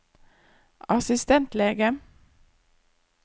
assistentlege